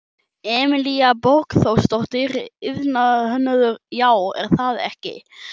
Emilía Borgþórsdóttir, iðnhönnuður: Já, er það ekki?